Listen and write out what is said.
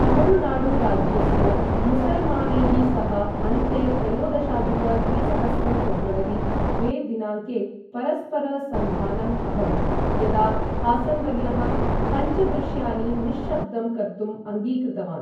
तमिळुनाडुराज्यस्य मुसल्मानैः सह अन्ते त्रयोदशाधिक द्विसहस्रं फेब्रवरी द्वे दिनाङ्के परस्पर सन्धानम् अभवत्, यदा हासन् वर्यः पञ्चदृश्यानि निश्शब्दं कर्तुम् अङ्गीकृतवान्।